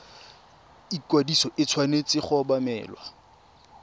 ikwadiso e tshwanetse go obamelwa